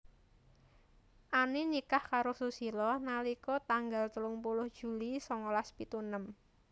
Ani nikah karo Susilo nalika tanggal telung puluh Juli songolas pitu enem